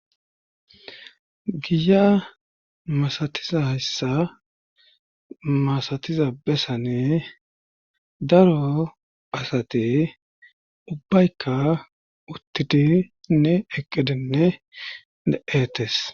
giya masatiza hayssa masatiza besane daro asate ubbaykka uttidi nne eqqidinne de7etes